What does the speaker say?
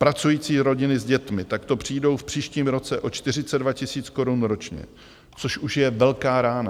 Pracující rodiny s dětmi takto přijdou v příštím roce o 42 tisíc korun ročně, což už je velká rána.